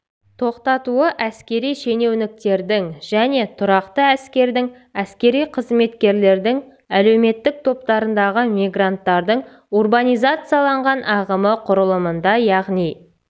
тоқтатуы әскери шенеуніктердің және тұрақты әскердің әскери қызметкерлердің әлеуметтік топтарындағы мигранттардың урбанизацияланған ағымы құрылымында яғни